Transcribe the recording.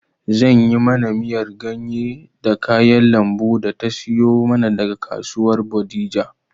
Zan yi mana miyar ganye da kayan lambun da ta siyo mana daga kasuwar bodija